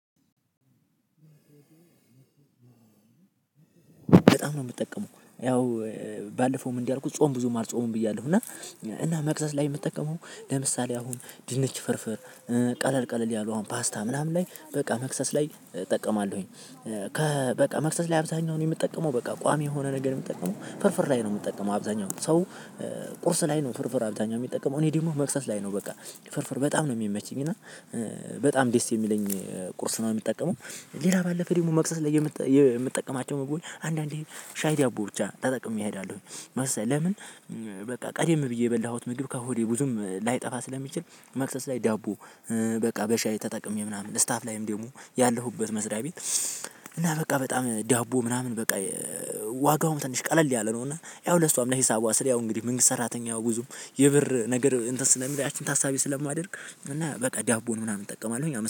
በጣም ነው የምጠቀመው። ያው ባለፈውም እንዳልኩህ ጾም ብዙም አልጾምም ብያለሁ እና እና መቅዘዝ ላይ የምጠቀመው ለምሳሌ አሁን ድንች ፍርፍር ቀለል ቀለል ያለው ፓስታ ምናምን ላይ በቃ መክሰስ ላይ እጠቀማለሁኝ። ከበቃ መክሰስ ላይ አብዛኛውን የምጠቀመው በቃ ቋሚ የሆነ ነገር የምጠቀመው ፍርፍር ላይ ነው የምጠቀመው አብዛኛውን ሰው ቁርስ ላይ ነው ፍርፍር አብዛኛው የሚጠቀመው እኔ ደግሞ መክሰስ ላይ ነው በቃ ፍርፍር በጣም ነው የሚመችኝ እና በጣም ዴስ የሚለኝ ቁርስ ነው የምጠቀመው። ሌላ ባለፈ ደግሞ መክሰስ ላይ የምጥ የምጠቀማቸው ምግቦች አንዳንዴ ሻይ ዳቦ ብቻ ተጠቅሜ እሄዳለሁኝ። መሰ ለምን በቃ ቀዴም ብዬ የበላሁት ምግብ ከሆዴ ብዙም ላይጠፋ ስለሚችል መክሰስ ላይ ዳቦ በቃ በሻይ ተጠቅሜ ምናምን ስታፍ ላይም ደግሞ ያለሁበት መስሪያ ቤት እና በቃ በጣም ዳቦ ምናምን በቃ ዋጋውን ትንሽ ቀለል ያለ ነው እና ያው ለሷም ለሂሳቧ ስል ያው እንግዲህ መንግስት ሰራተኛው ብዙም የብር ነገር እንትን ስለሚል ያቺን ታሳቢ ስለማደርግ እና በቃ ዳቦን ምናምን እጠቀማለሁኝ።